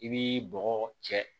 I b'i bɔgɔ cɛ